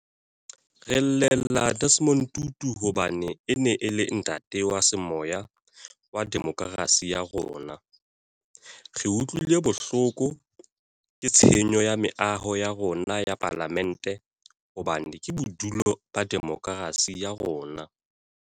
Re llela Desmond Tutu hobane e ne e le ntate wa semoya wa demokerasi ya rona. Re utlwile bohloko ke tshenyo ya meaho ya rona ya Palamente hobane ke bodulo ba demokerasi ya rona.